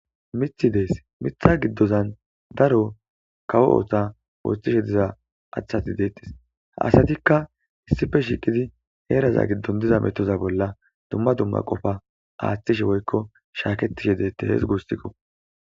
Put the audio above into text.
Mithi dees mitha giddozan daro kawo oota wooththishe diza achati deettis asatikka issife shiiqidi heeraza giddon diza metoza bolla dumma dumma qofa aaththishe woykko shaaketishe deette hees goostikko.